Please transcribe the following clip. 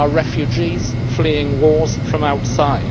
They are refugees fleeing wars from outside.